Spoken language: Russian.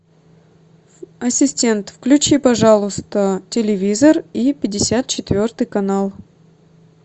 ассистент включи пожалуйста телевизор и пятьдесят четвертый канал